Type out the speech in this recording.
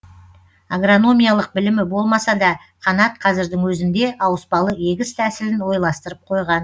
агрономиялық білімі болмаса да қанат қазірдің өзінде ауыспалы егіс тәсілін ойластырып қойған